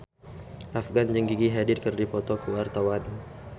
Afgan jeung Gigi Hadid keur dipoto ku wartawan